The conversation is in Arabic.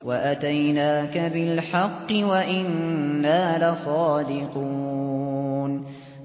وَأَتَيْنَاكَ بِالْحَقِّ وَإِنَّا لَصَادِقُونَ